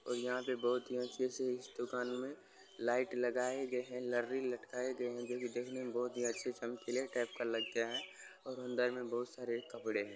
और यहां पे बहुत ही अच्छे से इस दुकान में लाइट लगाए गए है लरी लटकाये गए है जो की देखने में बहुत अच्छी चमकीले टाइप का लगता है और अंदर में बहुत-सारे कपड़े हैं।